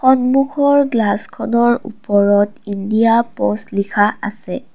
সন্মুখৰ গ্লাচখনৰ ওপৰত ইণ্ডিয়া প'ষ্ট লিখা আছে।